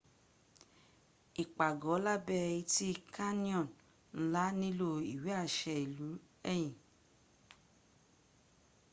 ipàgọ́ lábẹ́ etí canyon ńlá nílò ìwé àṣę ilú ẹ̀yìn